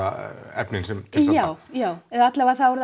efni já já eða alla vega þá er